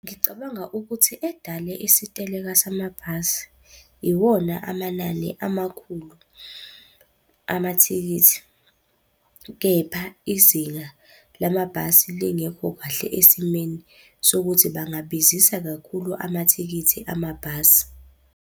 Ngicabanga ukuthi edale isiteleka samabhasi iwona amanani amakhulu amathikithi, kepha izinga lamabhasi lingekho kahle esimeni sokuthi bangabizisa kakhulu amathikithi amabhasi.